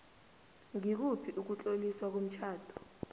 ngikuphi ukutloliswa komtjhado